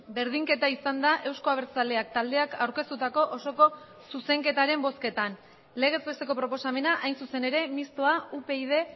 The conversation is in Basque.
berdinketa izan da euzko abertzaleak taldeak aurkeztutako osoko zuzenketaren bozketan legez besteko proposamena hain zuzen ere mistoa upyd